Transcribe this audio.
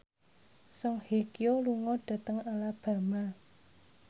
Song Hye Kyo lunga dhateng Alabama